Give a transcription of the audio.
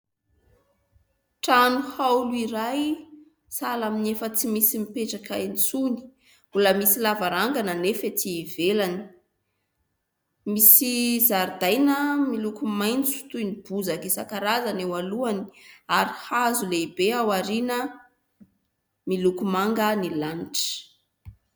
Trano haolo iray sahala ny efa tsy misy mipetraka intsony, mbola misy lavarangana anefa ety ivelany, misy zaridaina miloko maitso toy ny bozaka isan-karazany eo alohany ary hazo lehibe aoriana, miloko manga ny lanitra.